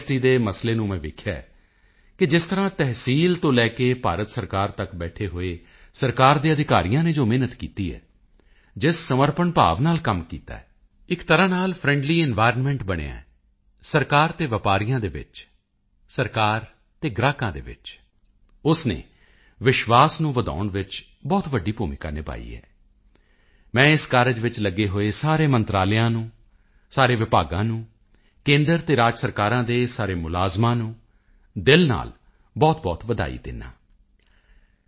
ਦੇ ਮਸਲੇ ਨੂੰ ਮੈਂ ਵੇਖਿਆ ਹੈ ਕਿ ਜਿਸ ਤਰ੍ਹਾਂ ਤਹਿਸੀਲ ਤੋਂ ਲੈ ਕੇ ਭਾਰਤ ਸਰਕਾਰ ਤੱਕ ਬੈਠੇ ਹੋਏ ਸਰਕਾਰ ਦੇ ਅਧਿਕਾਰੀਆਂ ਨੇ ਜੋ ਮਿਹਨਤ ਕੀਤੀ ਹੈ ਜਿਸ ਸਮਰਪਣ ਭਾਵ ਨਾਲ ਕੰਮ ਕੀਤਾ ਹੈ ਇੱਕ ਤਰ੍ਹਾਂ ਨਾਲ ਜੋ ਫ੍ਰੈਂਡਲੀ ਇਨਵਾਇਰਨਮੈਂਟ ਬਣਿਆ ਸਰਕਾਰ ਅਤੇ ਵਪਾਰੀਆਂ ਦੇ ਵਿਚਕਾਰ ਸਰਕਾਰ ਅਤੇ ਗਾਹਕਾਂ ਦੇ ਵਿਚਕਾਰ ਉਸ ਨੇ ਵਿਸ਼ਵਾਸ ਨੂੰ ਵਧਾਉਣ ਵਿੱਚ ਬਹੁਤ ਵੱਡੀ ਭੂਮਿਕਾ ਨਿਭਾਈ ਹੈ ਮੈਂ ਇਸ ਕਾਰਜ ਵਿੱਚ ਲੱਗੇ ਹੋਏ ਸਾਰੇ ਮੰਤਰਾਲਿਆਂ ਨੂੰ ਸਾਰੇ ਵਿਭਾਗਾਂ ਨੂੰ ਕੇਂਦਰ ਅਤੇ ਰਾਜ ਸਰਕਾਰਾਂ ਦੇ ਸਾਰੇ ਮੁਲਾਜ਼ਮਾਂ ਨੂੰ ਦਿਲ ਨਾਲ ਬਹੁਤਬਹੁਤ ਵਧਾਈ ਦਿੰਦਾ ਹਾਂ ਜੀ